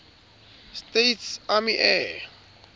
states army air